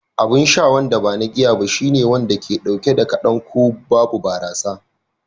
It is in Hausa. Abin sha wanda ba na giya ba shine wanda ke dauke da kadan ko babu barasa